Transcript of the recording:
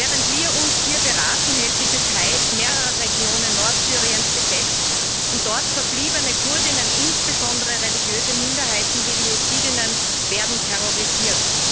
Während wir uns hier beraten, hält die Türkei mehrere Regionen Nordsyriens besetzt, und dort verbliebene Kurdinnen, insbesondere religiöse Minderheiten wie die Jesidinnen, werden terrorisiert.